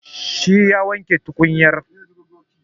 Shi ya wanke tukunyar.